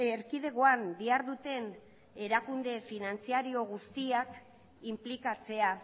erkidegoan diharduten erakunde finantziario guztiak inplikatzea